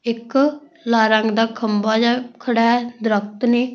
ਇੱਕ ਲਾਲ ਰੰਗ ਦਾ ਖੱਬਾ ਜਿਹਾ ਖੜਾ ਦਰਖਤ ਨਹੀਂ --